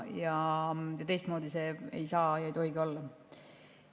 Teistmoodi ei saa, ei tohi olla.